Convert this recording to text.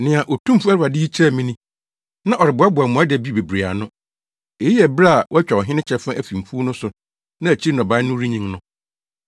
Nea Otumfo Awurade yi kyerɛɛ me ni: na ɔreboaboa mmoadabi bebree ano. Eyi yɛ bere a wɔatwa ɔhene kyɛfa afi mfuw no so na akyiri nnɔbae no renyin no.